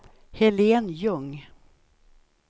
Helén Ljung